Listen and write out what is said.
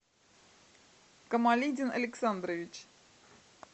камалидин александрович